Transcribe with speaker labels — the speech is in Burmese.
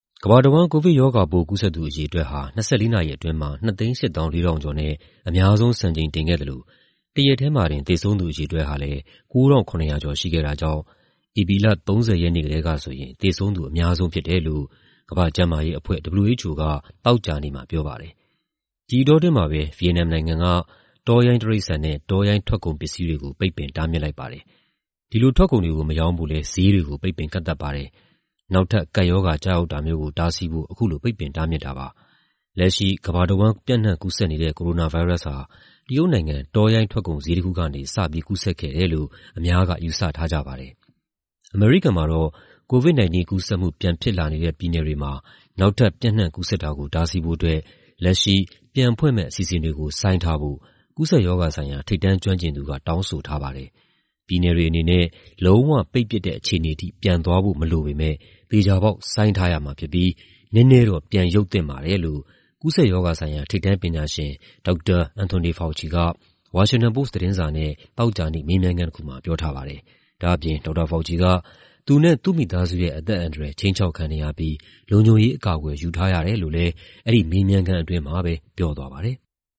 Speaker 1: ကမ္ဘာတဝန်း ကိုဗစ်ရောဂါပိုး ကူးစက်သူ အရေအတွက်ဟာ ၂၄ နာရီအတွင်းမှာ ၂၈၄,၀၀၀ ကျော်နဲ့ အများဆုံး စံချိန်တင်ခဲ့သလို တရက်တည်းမှာတင် သေဆုံးသူ အရေအတွက်ဟာလည်း ၉,၇၀၀ ကျော် ရှိခဲ့တာကြောင့် ဧပြီလ ၃၀ ရက်နေ့ကတည်းကဆိုရင် သေဆုံးသူ အများဆုံးဖြစ်တယ်လို့ ကမ္ဘာ့ကျန်းမာရေးအဖွဲ့ (WHO) က သောကြာနေ့မှာ ပြောပါတယ်။ ဒီအတောအတွင်းမှာပဲ ဗီယက်နမ်နိုင်ငံက တောရိုင်းတိရစ္ဆာန်နဲ့ တောရိုင်းထွက်ကုန် ပစ္စည်းတွေကို ပိတ်ပင်တားမြစ်လိုက်ပါတယ်။ ဒီလိုထွက်ကုန်တွေကို မရောင်းဖို့လည်း ဈေးတွေကို ပိတ်ပင်ကန့်သတ်ပါတယ်။ နောက်ထပ် ကပ်ရောဂါ ကျရောက်တာမျိုးကို တားဆီးဖို့ အခုလို ပိတ်ပင်တားမြစ်တာပါ။ လက်ရှိ ကမ္ဘာတဝန်း ပျံ့နှံ့ကူးစက်နေတဲ့ ကိုရိုနာဗိုင်းရပ်စ်ဟာ တရုတ်နိုင်ငံ တောရိုင်းထွက်ကုန်ဈေး တခုကနေ စပြီး ကူးစက်ခဲ့တယ်လို့ အများက ယူဆထားကြပါတယ်။ အမေရိကန်မှာတော့ COVID-19 ကူးစက်မှု ပြန်ဖြစ်လာနေတဲ့ ပြည်နယ်တွေမှာ နောက်ထပ် ပျံ့နှံ့ကူးစက်တာကို တားဆီးဖို့အတွက် လက်ရှိ ပြန်ဖွင့်မယ့် အစီအစဉ်တွေကို ဆိုင်းထားဖို့ ကူးစက်ရောဂါဆိုင်ရာ ထိပ်တန်းကျွမ်းကျင်သူက တောင်းဆိုထားပါတယ်။ ပြည်နယ်တွေအနေနဲ့ လုံးဝပိတ်ပစ်တဲ့ အခြေအနေထိ ပြန်သွားဖို့မလိုပေမယ့် သေချာပေါက် ဆိုင်းထားရမှာဖြစ်ပြီး နည်းနည်းတော့ ပြန်ရုပ်သင့်ပါတယ်လို့ ကူးစက်ရောဂါဆိုင်ရာ ထိပ်တန်းပညာရှင် ဒေါက်တာ Anthony Fauci က ဝါရှင်တန်ပို့စ် သတင်းစာနဲ့ သောကြာနေ့ မေးမြန်းခန်းတခုမှာ ပြောထားပါတယ်။ ဒေါက်တာ Fauci က သူနဲ့ သူ့မိသားစုရဲ့ အသက်အန္တရာယ် ခြိမ်းခြောက်ခံနေရပြီး လုံခြုံရေးအကာအကွယ် ယူထားရတယ်လို့ အဲဒီမေးမြန်းခန်းအတွင်းမှာပဲ ပြောသွားပါတယ်။